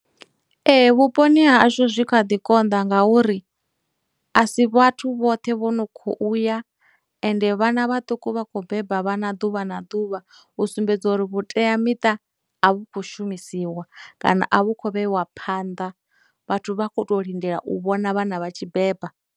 Ee, vhuponi ha hashu zwi kha ḓi konḓa ngauri a si vhathu vhoṱhe vhono khou ya, ende vhana vhaṱuku vha khou beba vhana ḓuvha na ḓuvha u sumbedza uri vhuteamiṱa a vhu khou shumisiwa kana a vhu khou vheiwa phanḓa, vhathu vha khou to lindela u vhona vhana vha tshi beba.